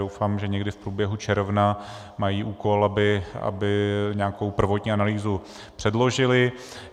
Doufám, že někdy v průběhu června, mají úkol, aby nějakou prvotní analýzu předložili.